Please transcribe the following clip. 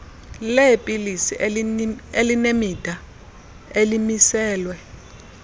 leepilisi elinemida elimiselwe